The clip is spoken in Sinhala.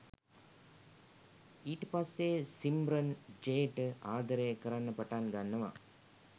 ඊට පස්සේ සිම්රන් ජේට ආදරය කරන්න පටන් ගන්නවා